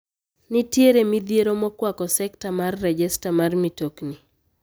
Nitiere midhiero makwako sekta mar rejesta mar mitokni.